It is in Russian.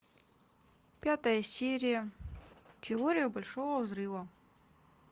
пятая серия теория большого взрыва